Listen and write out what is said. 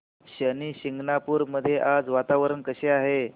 शनी शिंगणापूर मध्ये आज वातावरण कसे आहे